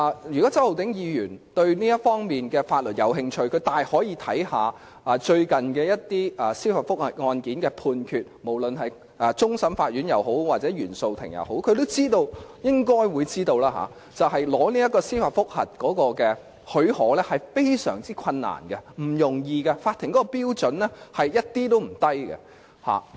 如果周浩鼎議員對這方面的法律有興趣，他大可參考最近一些司法覆核案件的判決，無論是終審法院或原訟法庭的案件也好，他應該知道要取得司法覆核許可並不容易，而是非常困難的，法庭的標準一點也不低。